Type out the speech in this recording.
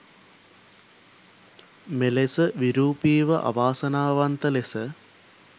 මෙලෙස විරූපීව අවාසනාවන්ත ලෙස